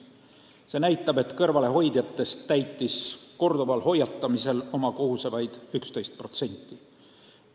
See näitab, et kõrvalehoidjatest täitis korduva hoiatamise järel oma kohust vaid 11%.